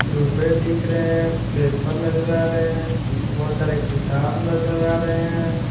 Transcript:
डूबे दिख रहे हैं पेपर नजर आ रहे हैं बहुत सारे किताब नजर आ रहे हैं।